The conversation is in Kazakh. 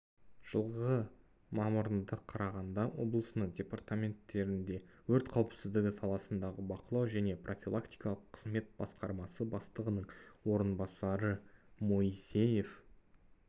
жылғы мамырында қарағанды облысының департаментінде өрт қауіпсіздігі саласындағы бақылау және профилактикалық қызмет басқармасы бастығының орынбасары моисеев